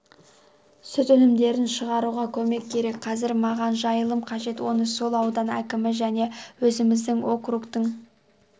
сүт өнімдерін шығаруға көмек керек қазір маған жайылым қажет оны сол аудан әкімі және өзіміздің округтың